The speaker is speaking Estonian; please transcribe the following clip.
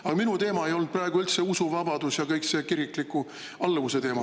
Aga minu teema ei olnud praegu üldse usuvabadus ja kogu see kirikliku alluvuse teema.